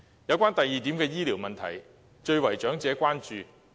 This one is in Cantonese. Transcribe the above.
有關第二點的醫療問題，最為長者關注。